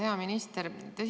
Hea minister!